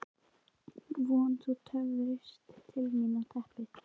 Vona: Þú töfrist til mín á teppið.